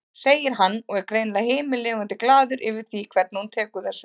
segir hann og er greinilega himinlifandi glaður yfir því hvernig hún tekur þessu.